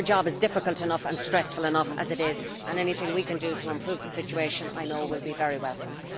Their job is difficult enough and stressful enough as it is, and anything we can do to improve the situation will, I know, be very welcome.